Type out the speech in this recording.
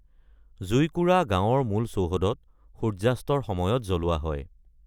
জুইকুৰা গাঁৱৰ মূল চৌহদত সূৰ্যাস্তৰ সময়ত জ্বলোৱা হয়।